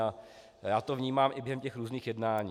A já to vnímám i během těch různých jednání.